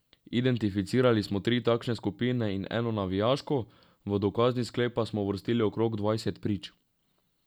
Identificirali smo tri takšne skupine in eno navijaško, v dokazni sklep pa smo uvrstili okrog dvajset prič.